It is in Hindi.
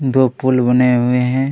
दो पुल बने हुए है।